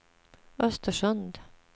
Östersund